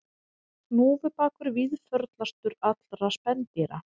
Hnúfubakur víðförlastur allra spendýra